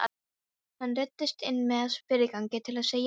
Hann ruddist inn með fyrirgangi til að segja mömmu fréttirnar.